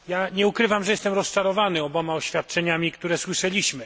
Nie ukrywam, że jestem rozczarowany oboma oświadczeniami, które słyszeliśmy.